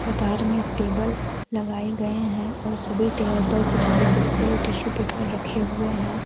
कतार में टेबल लगाए गए हैं और सभी टेबल पर कुछ गुलदस्ते और टिशू पेपर रखे हुए है।